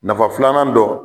Nafa filanan dɔ